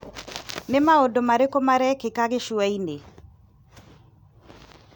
Nĩ maũndũ marĩkũ marekĩka Gĩcũa-inĩ ?